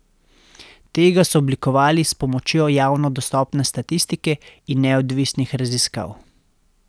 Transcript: Tega so oblikovali s pomočjo javno dostopne statistike in neodvisnih raziskav.